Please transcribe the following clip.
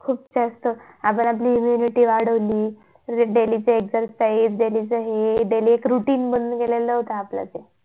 खूप जास्त आपण आपली immunity वाढवली परत daily exercise daily च हे daily routine बनून गेलं होत ते